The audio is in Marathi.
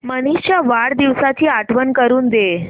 मनीष च्या वाढदिवसाची आठवण करून दे